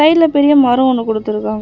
சைடுல பெரிய மரோ ஒன்னு குடுத்துருக்காங்க.